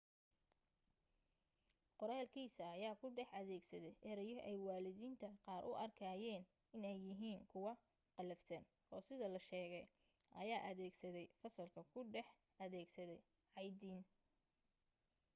qoraalkiisa ayaa ku dhex adeegsaday ereyo ay waalidiinta qaar u arkayeen inay yihiin kuwa qallafsan oo sida la sheegay ayaa adeegsaday fasalka ku dhex adeegsaday caytin